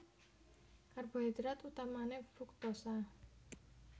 Karbohidrat utamané fruktosa